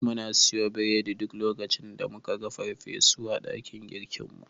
Muna siyo biredi duk lokacin da muka ga farfesu a dakin girkinmu.